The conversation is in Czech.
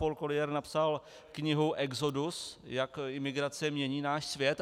Paul Collier napsal knihu Exodus, jak migrace mění náš svět.